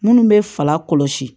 Minnu bɛ fala kɔlɔsi